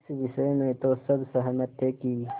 इस विषय में तो सब सहमत थे कि